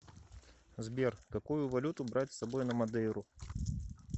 сбер какую валюту брать с собой на мадейру